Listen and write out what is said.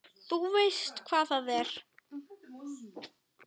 Þú veist hvar það er?